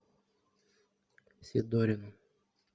сидорину